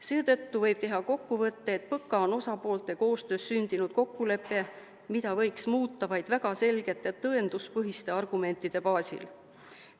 Seetõttu võib teha kokkuvõtte, et PõKa on osapoolte koostöös sündinud kokkulepe, mida võiks muuta vaid väga selgete tõenduspõhiste argumentide baasil.